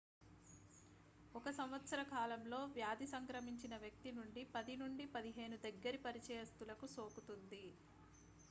ఒక సంవత్సర కాలంలో వ్యాధి సంక్రమించిన వ్యక్తి నుండి 10 నుండి 15 దగ్గరి పరిచయిస్తులకు సోకుతుంది